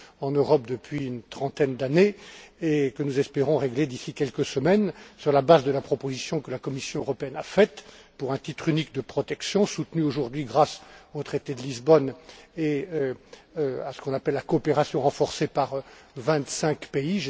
en Europe depuis une trentaine d'années, et que nous espérons régler d'ici quelques semaines, sur la base de la proposition faite par la Commission européenne en vue d'un titre unique de protection soutenu aujourd'hui, grâce au traité de Lisbonne et à ce qu'on appelle la coopération renforcée, par vingt cinq pays.